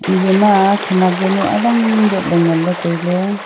eya ma khanak jaonu awang dot le ngan le taile.